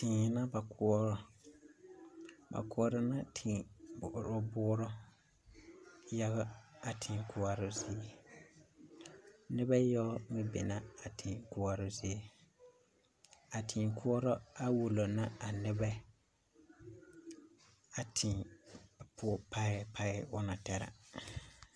Tee la ka ba koɔrɔ ba koɔrɔ la tèè boorɔ boorɔ yaga a tèè koɔre zie noba yaga meŋ be la a tèè koɔrɔ zie a téé koɔrɔ are wulo la a nebɛ a téé poɔ parɛɛ parɛɛ o na taa